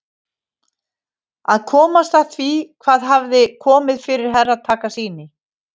Að komast að því hvað hafði komið fyrir Herra Takashi.